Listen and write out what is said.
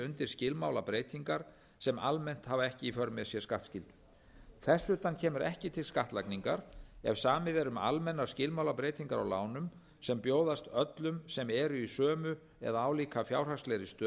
undir skilmálabreytingar sem almennt hafi ekki í för með sér skattskyldu þess utan kemur ekki til skattlagningar ef samið er um almennar skilmálabreytingar á lánum sem bjóðast öllum sem eru í sömu eða álíka fjárhagslegri stöðu